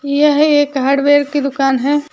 यह एक हार्डवेयर की दुकान है।